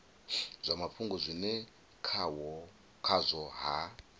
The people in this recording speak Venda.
zwa mafhungo zwine khazwo ha